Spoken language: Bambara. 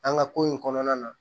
An ka ko in kɔnɔna na